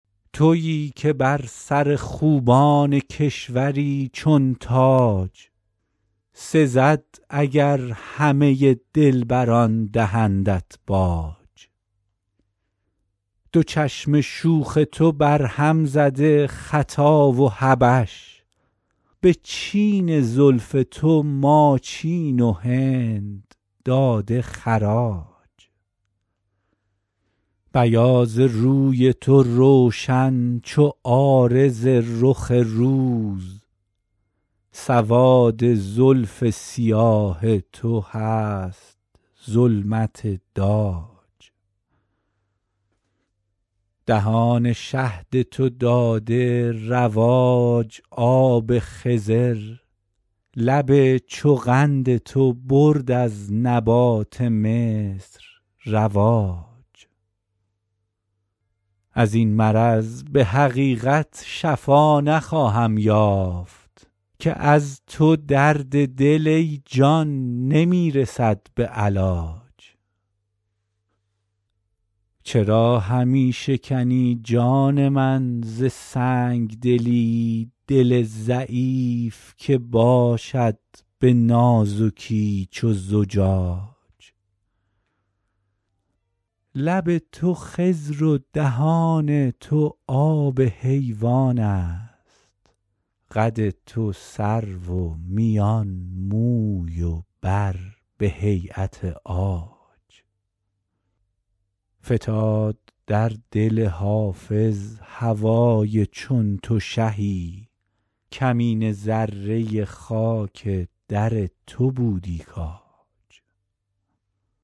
تویی که بر سر خوبان کشوری چون تاج سزد اگر همه دلبران دهندت باج دو چشم شوخ تو برهم زده خطا و حبش به چین زلف تو ماچین و هند داده خراج بیاض روی تو روشن چو عارض رخ روز سواد زلف سیاه تو هست ظلمت داج دهان شهد تو داده رواج آب خضر لب چو قند تو برد از نبات مصر رواج از این مرض به حقیقت شفا نخواهم یافت که از تو درد دل ای جان نمی رسد به علاج چرا همی شکنی جان من ز سنگ دلی دل ضعیف که باشد به نازکی چو زجاج لب تو خضر و دهان تو آب حیوان است قد تو سرو و میان موی و بر به هییت عاج فتاد در دل حافظ هوای چون تو شهی کمینه ذره خاک در تو بودی کاج